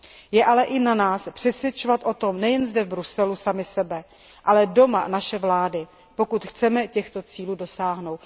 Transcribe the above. Je ale i na nás přesvědčovat o tom nejen zde, v Bruselu, sami sebe, ale doma naše vlády, pokud chceme těchto cílů dosáhnout.